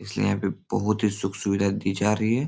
इसलिए यहाँ पर बहुत ही सुख-सुविधा दी जा रही है ।